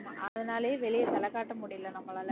ஆமா அதனாலயே வெளிய தலை காட்ட முடிய நம்மளால